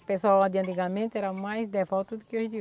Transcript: O pessoal lá de antigamente era mais devoto do que os de